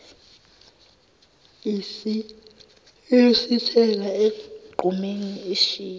isiyosithela egqumeni ishiya